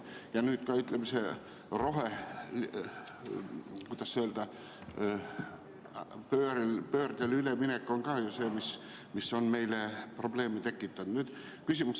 Ja nüüd ka, ütleme, rohepöördele üleminek on ka ju see, mis on meile probleeme tekitanud.